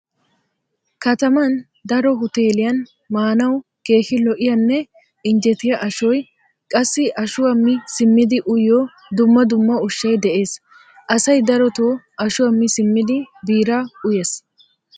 Kataman daro huteeliyan maanawu keehi lo'iyanne injjetiya ashoy qassi ashuwa mi simmidi uyiyo dumma dumma ushshay de'ees. Asay daroto ashuwa mi simmidi biiraa uyees.